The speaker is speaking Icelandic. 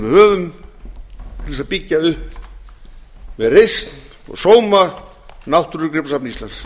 höfum til þess að byggja upp með reisn og sóma náttúrugripasafn íslands